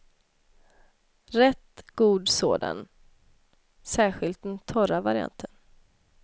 Rätt god sådan, särskilt den torra varianten.